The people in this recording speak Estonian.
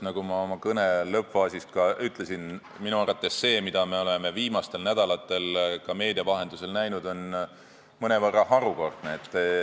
Nagu ma oma kõne lõppfaasis ütlesin, minu arvates on see, mida me oleme viimastel nädalatel ka meedia vahendusel näinud, mõnevõrra harukordne.